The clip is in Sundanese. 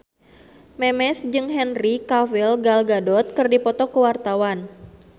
Memes jeung Henry Cavill Gal Gadot keur dipoto ku wartawan